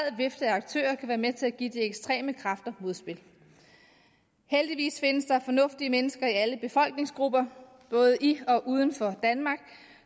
vifte af aktører kan være med til at give de ekstreme kræfter modspil heldigvis findes der fornuftige mennesker i alle befolkningsgrupper både i og uden for danmark